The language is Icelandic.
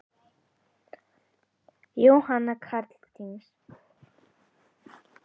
Jóhanna Katrín.